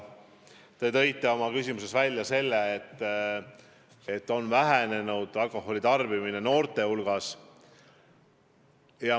Te tõite oma küsimuses välja, et alkoholi tarbimine noorte hulgas on vähenenud.